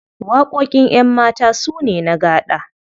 Waƙoƙin ƴanmata su ne na gaɗa.